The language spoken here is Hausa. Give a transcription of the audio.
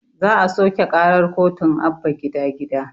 Za a soƙe karar kotun abba gida gida